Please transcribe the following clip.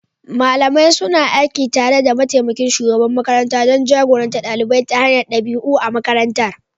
Malamai suna aiki tare da mataimakin shugaban makaranta don jagorantar ɗalibai ta hanyar ɗabi'u a makarantar.